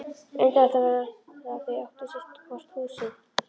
Undarlegt var að þau áttu sitt húsið hvort.